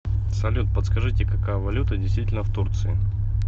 салют подскажите какая валюта действительна в турции